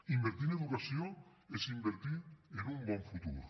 invertir en educació és invertir en un bon futur